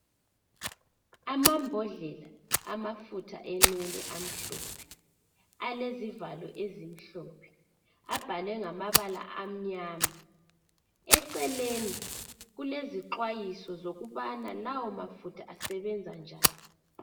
Amabhodlela amafutha enwele amhlophe alezivalo ezimhlophe abhalwe ngamabala amnyama. Eceleni kulezixwayiso zokubana lawa mafutha asebenza njani.